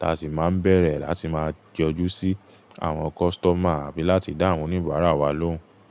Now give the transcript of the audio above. ta sì máa ń bẹ̀rẹ̀ láti máa jọjú sí àwọn kọ́tọ́mà àbí láti dáhùn oníbàárà wa lóhùn.